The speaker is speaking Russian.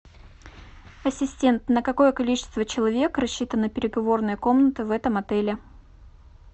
ассистент на какое количество человек рассчитана переговорная комната в этом отеле